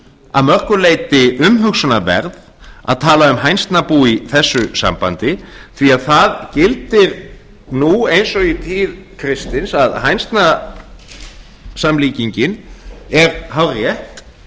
að mörgu leyti umhugsunarverð að tala um hænsnabú í þessu sambandi því að það gildir nú eins og í tíð kristins að hænsnasamlíkingin er hárrétt